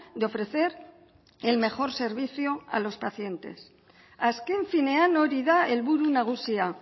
de ofrecer el mejor servicio a los pacientes azken finean hori da helburu nagusia